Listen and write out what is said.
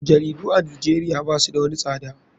Jaridu a nijeria basu da wani tsada.